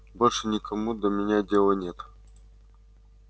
больше никому до меня дела нет